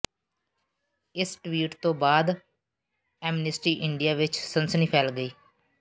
ਇਸ ਟਵੀਟ ਤੋਂ ਬਾਅਦ ਐਮਨਿਸਟੀ ਇੰਡੀਆ ਵਿੱਚ ਸਨਸਨੀ ਫੈਲ ਗਈ